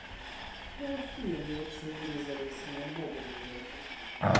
какого хуя они вообще вырезали из нее модули блять